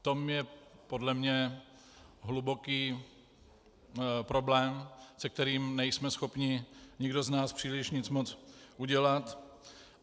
V tom je podle mě hluboký problém, se kterým nejsme schopni nikdo z nás příliš nic moc udělat.